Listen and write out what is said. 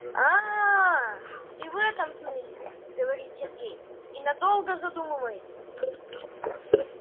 аа ты в этом смысле говорит сергей и надолго задумывается